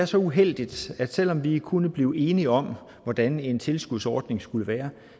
så uheldigt at vi selv om vi kunne blive enige om hvordan en tilskudsordning skulle være